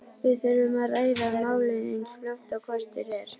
Við þurfum að ræða málin eins fljótt og kostur er.